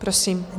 Prosím.